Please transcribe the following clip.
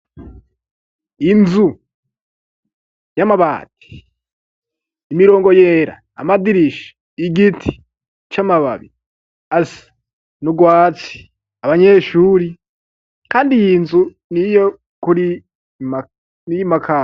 Inzu y'amabati imirongo yera amadirisha igiti c'amababi asi ni urwati abanyeshuri, kandi yi nzu ni ioiyo kuri niyoimakama.